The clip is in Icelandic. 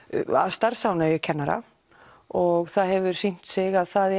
starfsánægju kennara og það hefur sýnt sig að það